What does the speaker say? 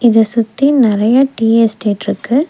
இத சுத்தி நெறைய டீ எஸ்டேட் இருக்கு.